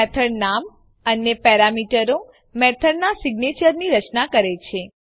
method નામ અને પેરામીટરો મેથડનાં સિગ્નેચરની રચના કરે છે